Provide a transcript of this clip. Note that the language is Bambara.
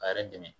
A yɛrɛ dɛmɛ